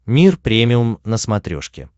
мир премиум на смотрешке